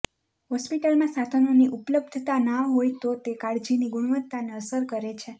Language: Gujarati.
હોસ્પિટલમાં સાધનોની ઉપલબ્ધતા ના હોય તો તે કાળજીની ગુણવત્તાને અસર કરે છે